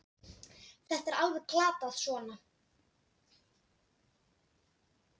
Þetta er alveg glatað svona!